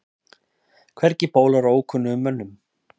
Hvergi bólar á ókunnugum mönnum.